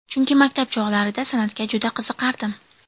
Chunki maktab chog‘larida san’atga juda qiziqardim.